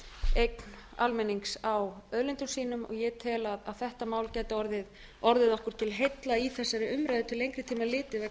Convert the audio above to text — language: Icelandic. styrkja almennings á auðlindum sínum ég tel að þetta mál geti orðið okkur til heilla í þessari umræðu til